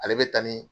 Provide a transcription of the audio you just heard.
Ale bɛ taa ni